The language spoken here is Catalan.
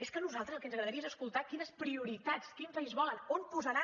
és que a nosaltres el que ens agradaria és escoltar quines prioritats quin país volen on posaran